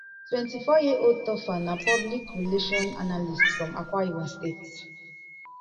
twenty-four years old topher na public relations analyst from akwa ibom state